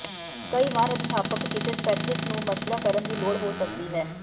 ਕਈ ਵਾਰ ਅਧਿਆਪਕ ਕਿਸੇ ਸਪੈਸ਼ਲਿਸਟ ਨੂੰ ਮਸ਼ਵਰਾ ਕਰਨ ਦੀ ਲੋੜ ਹੋ ਸਕਦੀ ਹੈ